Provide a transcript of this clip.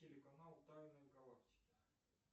телеканал тайны галактики